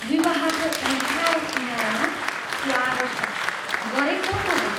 "विवाहको अँध्यारो किनारामा स्वागत छ" गरे कसो होला?